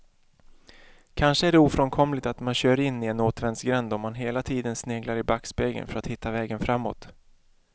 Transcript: Kanske är det ofrånkomligt att man kör in i en återvändsgränd om man hela tiden sneglar i backspegeln för att hitta vägen framåt.